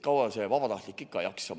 Kaua see vabatahtlik ikka jaksab?